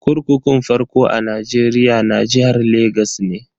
Kurkukun farko a Nigeria na jihar Legas ne.